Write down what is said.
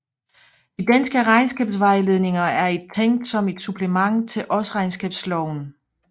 De Danske regnskabsvejledninger er et tænkt som et supplement til Årsregnskabsloven